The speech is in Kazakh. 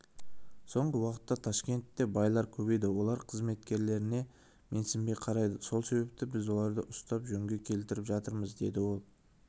соңғы уақытта ташкентте байлар көбейді олар қызметкерлеріне менсінбей қарайды сол себепті біз оларды ұстап жөнге келтіріп жатырмыз деді ол